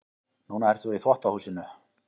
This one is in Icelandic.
Núna ert þú í þvottahúsinu.